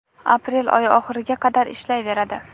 aprel' oyi oxiriga qadar ishlayveradi.